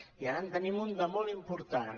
i ara en tenim un de molt important